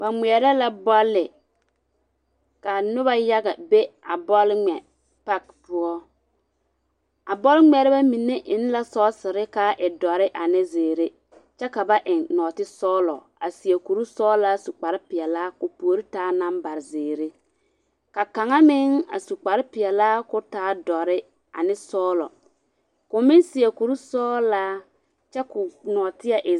Ba ŋmeɛrɛ la bɔlle, ka noba yaga be a bɔle ŋmɛ pake poɔ. A bɔlŋmeɛrebɛmine eŋ la sɔgesere ka a e dɔre ane zeere kyɛ ka ba eŋ nɔɔtesɔgelɔ a seɛ kuri sɔgelaa su kpare peɛlaa ka o puorin taa namba zeere. Ka kaŋa meŋ su kpare peɛlaa ka o ka o taa dɔre ane sɔgelɔ. ka o meŋ seɛ kuri sɔgalaa kyɛ ka o nɔɔteɛ e ….